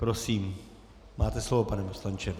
Prosím, máte slovo, pane poslanče.